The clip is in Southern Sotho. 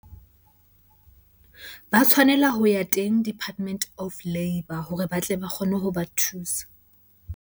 Ba tshwanela ho ya teng Department of Labour hore ba tle ba kgone ho ba thusa.